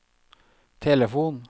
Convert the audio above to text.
telefon